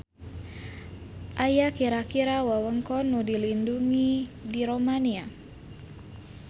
Aya kira-kira wewengkon nu dilindung di Romania.